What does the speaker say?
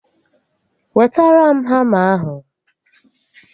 Wetara m hama ahụ